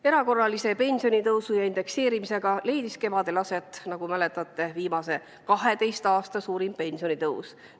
Erakorralise pensionitõusu ja indekseerimisega leidis kevadel aset, nagu mäletate, viimase 12 aasta suurim pensionitõus.